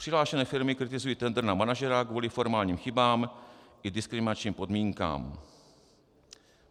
Přihlášené firmy kritizují tendr na manažera kvůli formálním chybám i diskriminačním podmínkám.